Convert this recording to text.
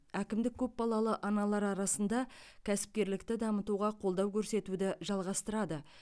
әкімдік көпбалалы аналар арасында кәсіпкерлікті дамытуға қолдау көрсетуді жалғастырады